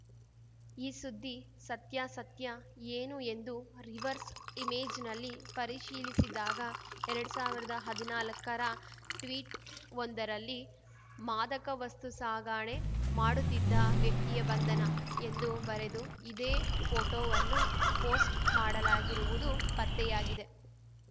ಈ ಸುದ್ದಿ ಸತ್ಯಾಸತ್ಯ ಏನು ಎಂದು ರಿವರ್ಸ್‌ ಇಮೇಜ್‌ನಲ್ಲಿ ಪರಿಶೀಲಿಸಿದಾಗ ಎರಡ್ ಸಾವಿರ್ದಾ ಹದಿನಾಲಕ್ಕರ ಟ್ವೀಟ್‌ವೊಂದರಲ್ಲಿ ಮಾದಕ ವಸ್ತು ಸಾಗಣೆ ಮಾಡುತ್ತಿದ್ದ ವ್ಯಕ್ತಿಯ ಬಂಧನ ಎಂದು ಬರೆದು ಇದೇ ಪೋಟೋವನ್ನು ಪೋಸ್ಟ್‌ ಮಾಡಲಾಗಿರುವುದು ಪತ್ತೆಯಾಗಿದೆ